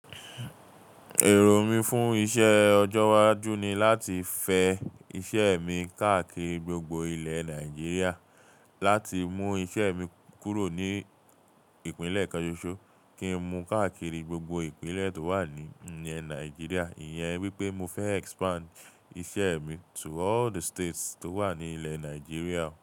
Èrò mi fún iṣẹ́ ọjọ́ iwájú ni láti fẹ iṣẹ́ mi káàkiri gbogbo ilẹ̀ Nàìjíríà, láti mú iṣẹ́ mi kúrò ní ìpínlẹ̀ kan sósó kí n mú káàkiri gbogbo ìpínlẹ̀ tó wà ní ilẹ̀ Nàìjíríà. Ìyẹn wípé mo fẹ expand iṣẹ́ mi to all the states tó wà ní ilẹ̀ Nàìjíríà.